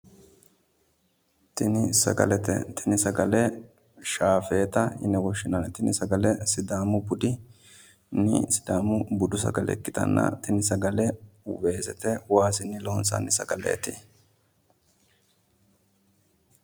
Tini sagalete. Tini sgale shaafeeta yine woshshinayi tini sagele sidaamu budinni sidaamu budu sagale ikkitanna tini sagale weesete waasinni loonsanni sagaleeti.